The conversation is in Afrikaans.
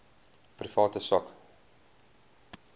private sak